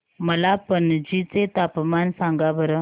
मला पणजी चे तापमान सांगा बरं